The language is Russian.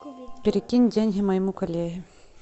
перекинь деньги моему коллеге